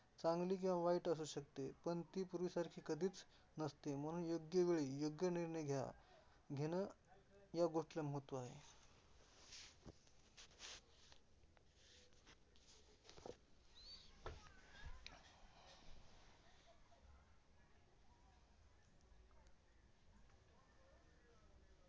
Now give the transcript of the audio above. चांगली किंवा वाईट असू शकते. पण ती पूर्वीसारखी कधीच नसते, म्हणून योग्यवेळी योग्य निर्णय घ्या, घेण ह्या गोष्टीला महत्त्व आहे.